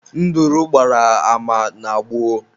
Nduru gbara ama na gboo